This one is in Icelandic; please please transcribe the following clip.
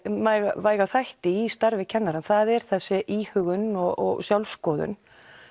mikilvæga þætti í starfi kennara það er þessi íhugun og sjálfskoðun